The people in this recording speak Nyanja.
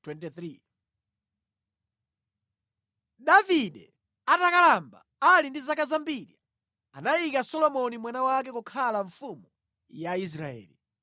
Davide atakalamba, ali ndi zaka zambiri, anayika Solomoni mwana wake kukhala mfumu ya Israeli.